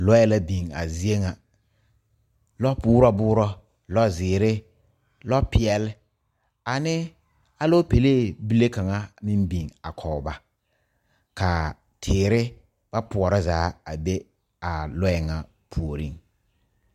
Lɔe la biŋ a zie ŋa. Lɔ buoro buoro. Lɔ ziire, lɔ piɛle, ane alopɛleɛ bile kanga meŋ biŋ a kɔ ba. Ka a teere ba pouro zaa a be a lɔe ŋa pooreŋ